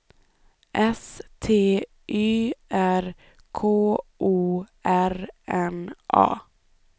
S T Y R K O R N A